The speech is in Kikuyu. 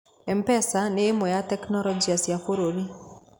M-pesa nĩ ĩmwe ya tekinoronjĩ cia bũrũri.